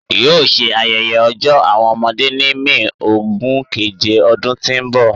Yoo ṣe ayẹyẹ Ọjọ Awọn ọmọde ni May ogun keje ọdun ti n bọ